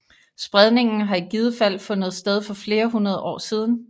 Spredningen har i givet fald fundet sted for flere hundrede år siden